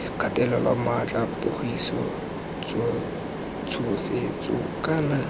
kgatelelo maatla pogiso tshosetso kana